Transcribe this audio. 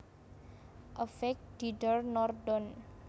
Avec Didier Nordon